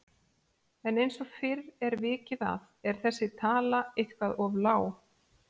En eins og fyrr er vikið að er þessi tala eitthvað of lág.